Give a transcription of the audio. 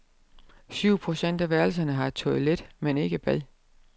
Syv procent af værelserne har toilet, men ikke bad.